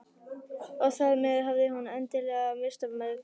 Og þar með hafði hún endanlega misst af mögu